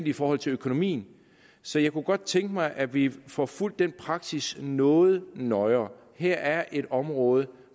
i forhold til økonomien så jeg kunne godt tænke mig at vi får fulgt den praksis noget nøjere her er et område